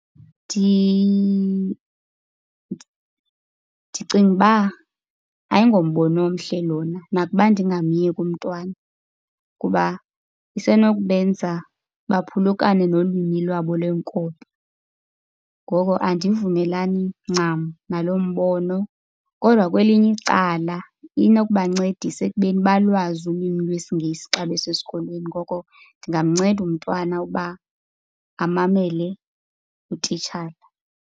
Ndicinga uba ayingombono omhle lona nakuba ndingamyeki umntwana kuba isenokubenza baphulukane nolwimi lwabo lwenkobe, ngoko andivumelani ncam nalo mbono. Kodwa kwelinye icala inokubancedisa ekubeni balwazi ulwimi lwesiNgesi xa besesikolweni, ngoko ndingamnceda umtwana uba amamele utitshala.